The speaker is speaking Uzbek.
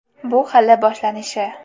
Bu hali boshlanishi.